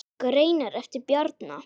Greinar eftir Bjarna